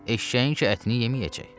Eşşəyin ki ətini yeməyəcək.